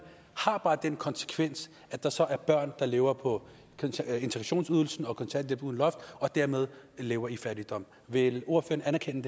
har bare den konsekvens at der så er børn der lever på integrationsydelsen og kontanthjælp uden loft og dermed lever i fattigdom vil ordføreren anerkende